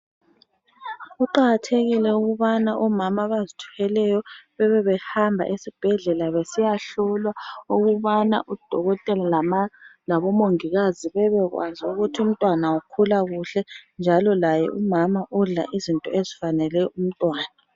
Kuqakathekile ukubana omama abazithweleyo bebebehamba ezibhedlela besiyahlolwa ukubana udokotela labomongikazi bebekwazi ukuthi umntwana ukhula kuhle njalo laye umama udla izinto ezifanele umntwana.